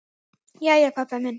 Jæja, pabbi minn.